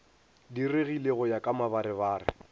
diregile go ya ka mabarebare